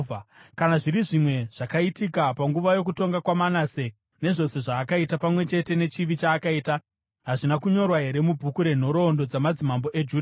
Kana zviri zvimwe zvakaitika panguva yokutonga kwaManase, nezvose zvaakaita, pamwe chete nechivi chaakaita, hazvina kunyorwa here mubhuku renhoroondo dzamadzimambo eJudha?